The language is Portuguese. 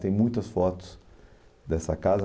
Tem muitas fotos dessa casa.